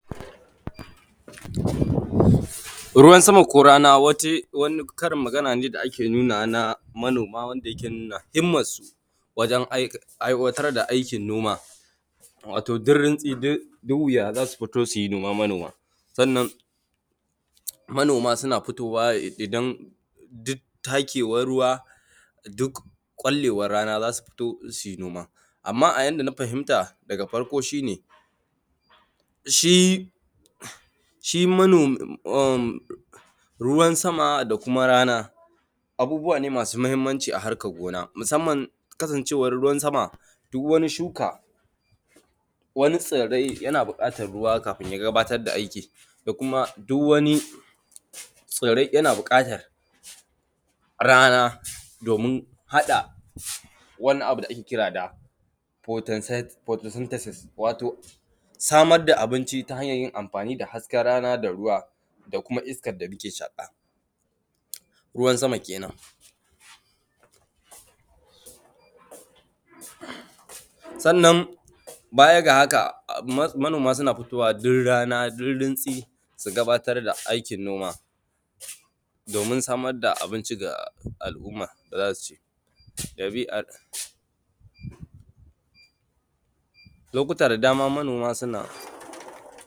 ruwan sama ko rana wani karin magana ne da ake nuna ma manoma wanda yake nuna himman su wajen aiwatar da aikin noma wato duk runtsi duk wuya za su fito su yi noma manoma sannan manoma suna fitowa ne idan duk takewan ruwa duk ƙwallewan rana za su fito su yi noma amman a yanda na fahimta daga farko shine shi ruwan sama da kuma rana abubuwa ne masu muhimmanci a harkan gona musamman kasancewan ruwan sama duk wani shuka wani tsirrai yana buƙatan ruwa kafin ya gabatar da aiki da kuma duk wani tsirrai yana buƙatan rana domin haɗa wani abu da ake ƙira da photosynthesis wato samar da abinci ta hanyar yin amfani da haske rana da ruwa da kuma iskar da muke shaƙa ruwan sama kenan sannan baya ga haka manoma a suna fitowa duk rana duk rintsi su gabatar da aikin noma domin samar da abinci ga al'umma da za su ci ɗabi’ar lokuta da dama manoma suna